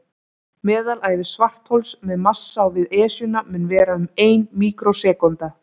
Meðalævi svarthols með massa á við Esjuna mun vera um ein míkrósekúnda.